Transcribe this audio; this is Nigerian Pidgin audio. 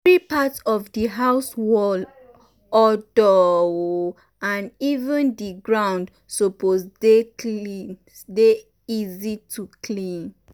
every part of di house_ wall odoor o and even di ground suppose dey easy to clean.